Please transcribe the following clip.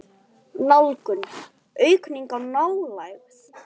Nálgun: aukning á nálægð?